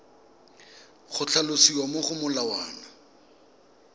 go tlhalosiwa mo go molawana